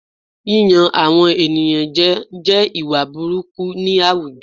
Yíyan àwọn ènìyàn jẹ jẹ́ ìwà burúkú ni àwùjọ